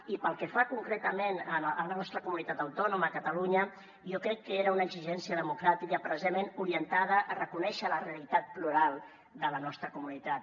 i pel que fa concretament a la nostra comunitat autònoma a catalunya jo crec que era una exigència democràtica precisament orientada a reconèixer la realitat plural de la nostra comunitat